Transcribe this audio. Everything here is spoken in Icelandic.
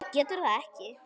Hver getur það ekki?